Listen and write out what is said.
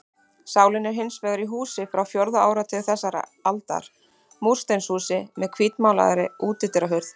Sálin er hins vegar í húsi frá fjórða áratug þessarar aldar, múrsteinshúsi með hvítmálaðri útidyrahurð.